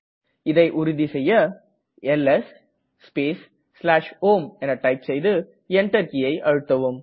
இதை உறுதி செய்ய எல்எஸ் ஸ்பேஸ் home டைப் செய்து Enter கீயை அழுத்தவும்